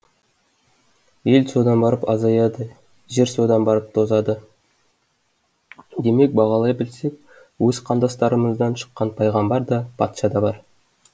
ел содан барып азаяды жер содан барып тозады демек бағалай білсек өз қандастарымыздан шыққан пайғамбар да патша да бар